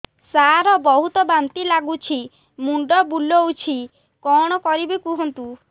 ସାର ବହୁତ ବାନ୍ତି ଲାଗୁଛି ମୁଣ୍ଡ ବୁଲୋଉଛି କଣ କରିବି କୁହନ୍ତୁ